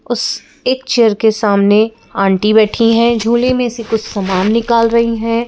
उस एक चेयर के सामने आंटी बैठी हैं झोले में से कुछ सामान निकाल रही हैं।